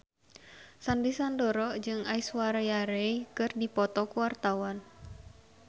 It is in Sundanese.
Sandy Sandoro jeung Aishwarya Rai keur dipoto ku wartawan